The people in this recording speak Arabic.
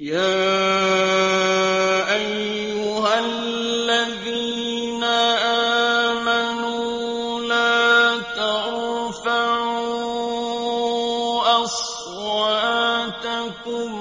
يَا أَيُّهَا الَّذِينَ آمَنُوا لَا تَرْفَعُوا أَصْوَاتَكُمْ